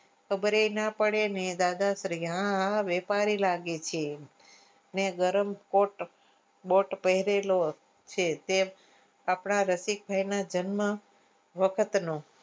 ખબરે ના પડે ને દાદાશ્રી હા હા વેપારી લાગે છે ને ગરમ કોટ બટ પહરેલો તે આપણા રસિક ભીના જન્મ વખત નો